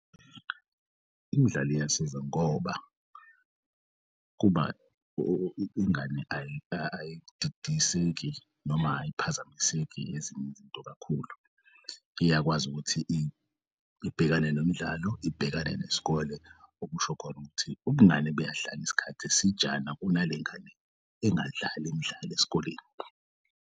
Imidlalo iyasiza ngoba ingane ayididiseki noma ayiphazamiseki ezinye izinto kakhulu. Iyakwazi ukuthi ibhekane nomdlalo ibhekane nesikole okusho khona ukuthi ubungane buyahlala isikhathi esijana kunalengane engadlali imidlalo esikoleni.